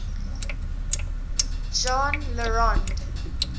jean le rond